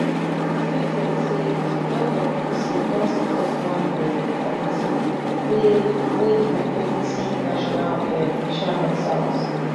di statement say di nwc don set up one um committee wey wey di deputy national um chairman south